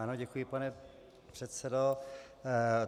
Ano, děkuji, pane předsedo.